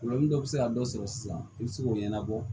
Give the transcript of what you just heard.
dɔ bɛ se ka dɔ sɔrɔ sisan i bɛ se k'o ɲɛnabɔ